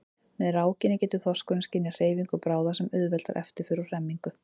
Með rákinni getur þorskurinn skynjað hreyfingu bráðar sem auðveldar eftirför og hremmingu.